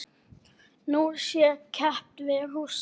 Nú sé keppt við Rússa.